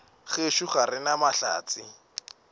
gešo ga re na mahlatse